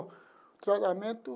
O tratamento?